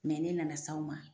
Mɛ ne nana s'aw ma.